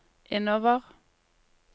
innover